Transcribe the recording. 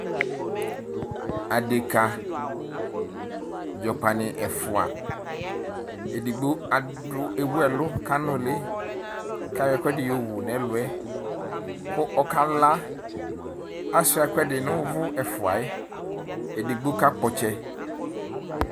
Adeka dzɔ ɔkpani ɛfʋa edigbo ewʋ ɛlʋ kʋ anʋli kʋ ayɔ ɛkʋɛdi yɔwʋ nʋ ɛlʋɛ kʋ ɔkala asuia ɛkʋ ɛdini nʋ ʋvʋ ɛfʋa yɛ edigno kakpɔ ɔtsɛ